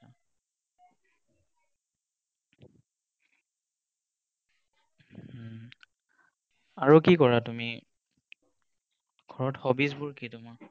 উম আৰু কি কৰা তুমি? ঘৰত hobbies বোৰ কি তোমাৰ?